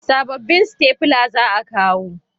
Sabobbin stafila za a kawo